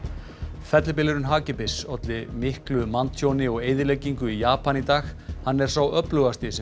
fellibylurinn hagi bis olli manntjóni og mikilli eyðileggingu í Japan í dag hann er sá öflugasti sem